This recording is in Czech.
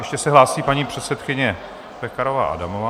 Ještě se hlásí paní předsedkyně Pekarová Adamová.